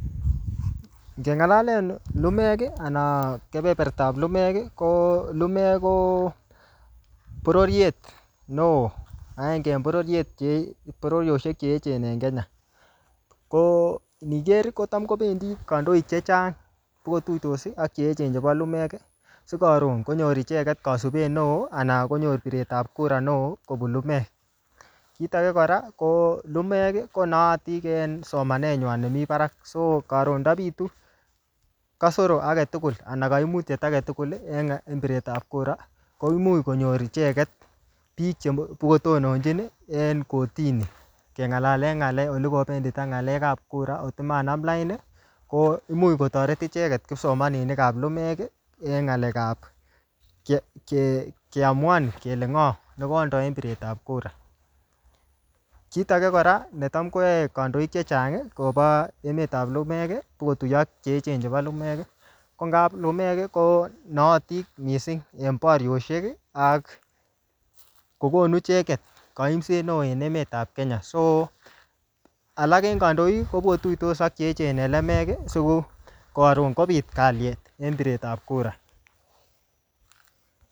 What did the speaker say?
Ngeng'alaen lumek, anan keperpertap lumek, ko lumek ko bororiet neoo agenge en bororiet che bororioshek che echen en Kenya. Ko ngiker kotam kobendi kandoik chechang, kotuitos ak che echen chebo lumek, si karon konyor icheket kasubet neoo, anan konyor piretap kura neoo kobun lumek. Kit age kora, ko lumek, ko naatin en somanet nywan nemii barak. So karon ndabitu kasoro age tugul, anan kaimutiet age tugul, en piretap kura, koimuch konyor icheket bik cheto tononchin en kotini. Keng'alalen ngl'alek ole kobetita ng'alekap kura ole manam lain, ko imuch kotoret icheket kipsomaninik ap lumek, eng ng'alekap ke-ke-keamuan kele ng'oo nekondo en piretap kura. Kit age kora, netam koae kandoik chechang kobo emetap lumek, sikutuyo ak che echen chebo lumek, ko ngap lumek ko naatin missing en bariosiek ak kokonu icheket kaimset neoo en emetap Kenya. So alak en kandoik, kobotuitos ak che echen en lemek, siko karon kobit kalyet en piretap kura.